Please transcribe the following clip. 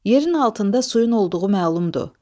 Yerin altında suyun olduğu məlumdur.